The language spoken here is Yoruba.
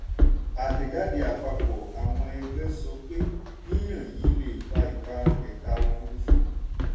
àtẹ̀jáde àpapọ̀ àwọn ẹgbẹ́ sọ pé yíyan yìí lè fa ìparun ẹ̀ka òfùrúfú.